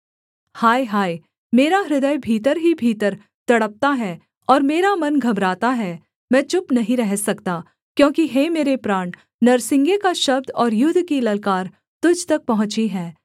हाय हाय मेरा हृदय भीतर ही भीतर तड़पता है और मेरा मन घबराता है मैं चुप नहीं रह सकता क्योंकि हे मेरे प्राण नरसिंगे का शब्द और युद्ध की ललकार तुझ तक पहुँची है